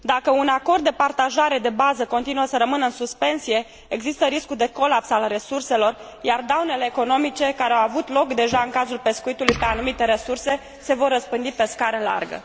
Dacă un acord de partajare de bază continuă să rămână în suspensie, există riscul de colaps al resurselor, iar daunele economice care au avut loc deja în cazul pescuitului pe anumite resurse se vor răspândi pe scară largă.